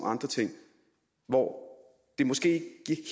andre ting hvor det måske